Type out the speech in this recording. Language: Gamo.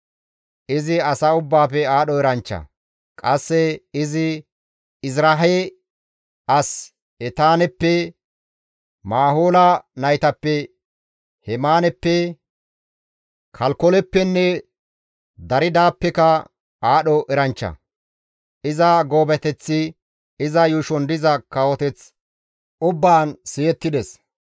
Izi asa ubbaafe aadho eranchcha; qasse izi Ezirahe as Etaaneppe, Maahola naytappe Hemaaneppe, Kalkoleppenne Daridaappeka aadho eranchcha; iza goobateththi iza yuushon diza kawoteth ubbaan siyettides.